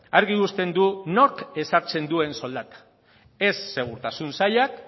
argi uzten du nork ezartzen duen soldata ez segurtasun sailak